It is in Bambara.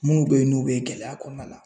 Munnu be yen n'u be gɛlɛya kɔnɔna la